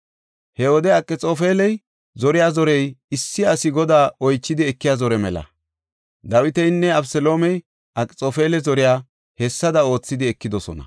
He wode Akxoofeli zoriya zorey issi asi Godaa oychidi ekiya zore mela. Dawitinne Abeseloomey Akxoofela zoriya hessada oothidi ekidosona.